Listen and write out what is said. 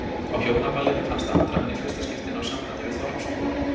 Á Hjónaballinu fannst Andra hann í fyrsta skipti ná sambandi við þorpsbúa.